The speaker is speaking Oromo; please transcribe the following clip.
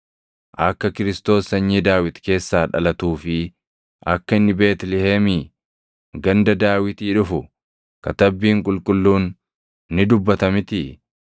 Akka Kiristoos sanyii Daawit keessaa dhalatuu fi akka inni Beetlihemii, ganda Daawitii dhufu Katabbiin Qulqulluun ni dubbata mitii?”